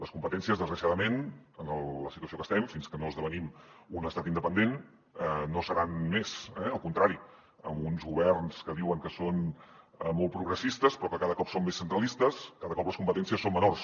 les competències desgraciadament en la situació que estem fins que no esdevenim un estat independent no seran més eh al contrari amb uns governs que diuen que són molt progressistes però que cada cop són més centralistes cada cop les competències són menors